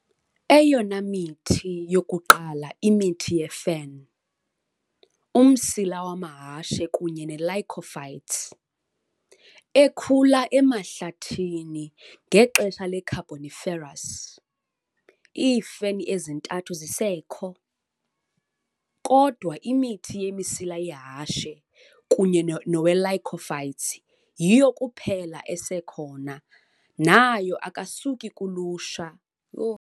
Eyona mithi yokuqala imithi yefen, umsila wamahashe kunye nelycophytes, ekhula emahlathini ngexesha le-Carboniferous, iifeni ezintathu zisekho, kodwa imithi yemisila yehashe kunye nowelycophytes yiyo kuphela esekhona nayo akasuki kuluhlu lwemithi yefeni.